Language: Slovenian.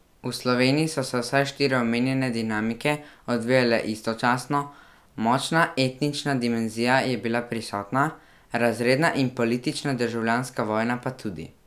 V Sloveniji so se vse štiri omenjene dinamike odvijale istočasno, močna etnična dimenzija je bila prisotna, razredna in politična državljanska vojna pa tudi.